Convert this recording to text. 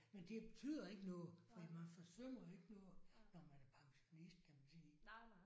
Men det betyder ikke noget fordi man forsømmer jo ikke noget når man er pensionist kan man sige